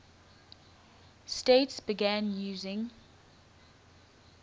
states began using